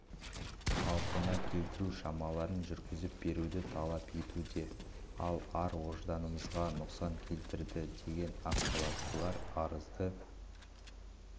қалпына келтіру шараларын жүргізіп беруді талап етуде ал ар-ожданымызға нұқсан келтірді деген ақ халаттылар арызды